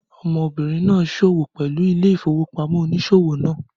Ọmọbìnrin náà se òwò pẹlú ilé ìfowópamọ́ oníṣòwò náà